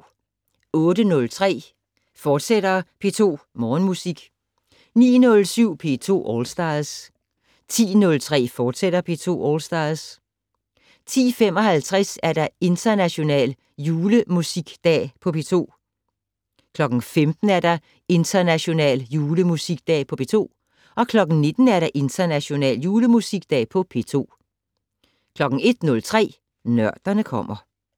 08:03: P2 Morgenmusik, fortsat 09:07: P2 All Stars 10:03: P2 All Stars, fortsat 10:55: International Julemusikdag på P2 15:00: International Julemusikdag på P2 19:00: International Julemusikdag på P2 01:03: Nørderne kommer